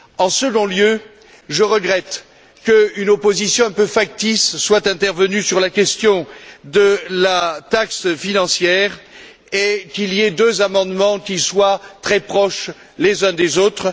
En second lieu, je regrette qu'une opposition un peu factice soit intervenue sur la question de la taxe financière et qu'il y ait deux amendements qui soient très proches l'un de l'autre.